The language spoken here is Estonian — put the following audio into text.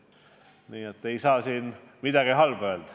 Ei saa siin midagi halba öelda.